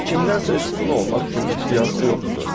Kimdənsə üstün olmaq kimi iddiası yoxdur.